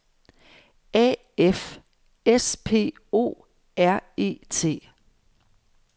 A F S P O R E T